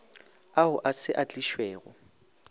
ao a se a tlišwego